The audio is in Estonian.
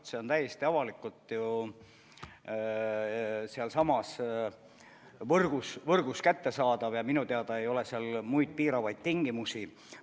Tarkvara on täiesti avalikult ju sealsamas võrgus kättesaadav ja minu teada ei ole seal muid piiravaid tingimusi.